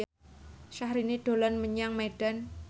Syahrini dolan menyang Medan